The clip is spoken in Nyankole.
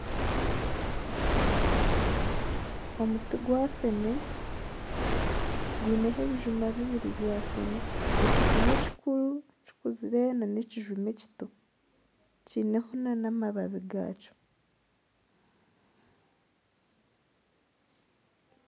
Omuti gwa feene gwineho ebijuma bibiri bya feene, ekijuma ekikuru kikuzire nana ekijuma ekito kiineho nana amabiba gaakyo